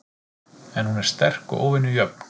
En hún er sterk og óvenju jöfn.